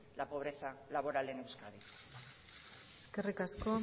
la pobreza laboral en euskadi eskerrik asko